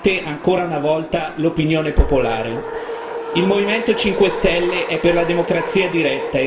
Tuttavia, i vertici politici hanno voluto ignorare deliberatamente ancora una volta l'opinione popolare.